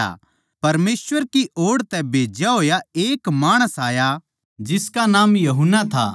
परमेसवर कै ओड़ तै भेज्जा होया एक माणस आया जिसका नाम यूहन्ना था